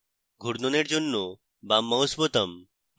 ঘূর্ণনের জন্য বাম mouse বোতাম